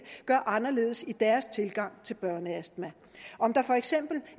gør anderledes i deres tilgang til børneastma om der for eksempel